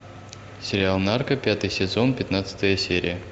сериал нарко пятый сезон пятнадцатая серия